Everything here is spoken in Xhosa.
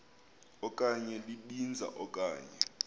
okanye libinza okanye